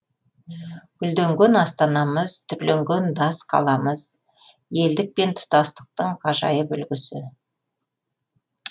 гүлденген астанамыз түрленген дас қаламыз елдік пен тұтастықтың ғажайып үлгісі